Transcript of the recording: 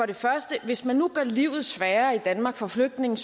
det første at hvis man nu gør livet sværere i danmark for flygtninge